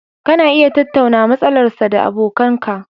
Kana iya tattaunawa matsalar sa da abokan ka